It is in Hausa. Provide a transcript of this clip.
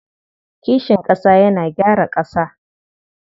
Kishin ƙasa yana gyara ƙasa.